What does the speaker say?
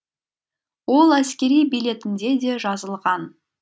ол әскери билетінде де жазылған